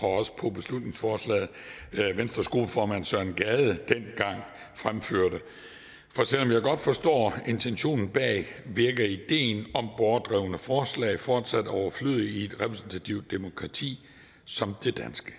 også på beslutningsforslaget venstres gruppeformand herre søren gade dengang fremførte selv om jeg godt forstår intentionen bag virker ideen om borgerdrevne forslag fortsat overflødig i et repræsentativt demokrati som det danske